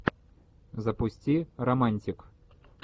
запусти романтик